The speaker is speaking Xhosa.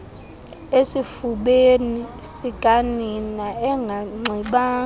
esifubeni sikanina enganxibanga